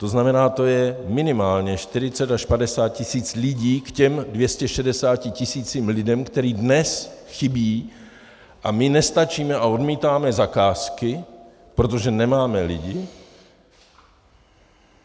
To znamená, to je minimálně 40 až 50 tisíc lidí k těm 260 tisícům lidí, kteří dnes chybí, a my nestačíme a odmítáme zakázky, protože nemáme lidi.